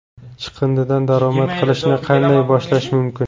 Chiqindidan daromad qilishni qanday boshlash mumkin?